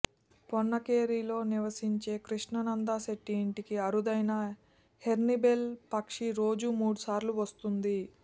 పొన్నకేరిలో నివసించే కృష్ణానంద శెట్టి ఇంటికి అరుదైన హార్న్బిల్ పక్షి రోజూ మూడు సార్లు వస్తోంది